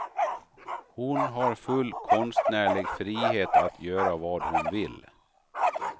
Hon har full konstnärlig frihet att göra vad hon vill.